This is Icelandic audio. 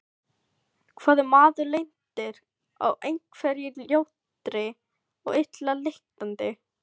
Hvað ef maður lendir á einhverri ljótri og illa lyktandi?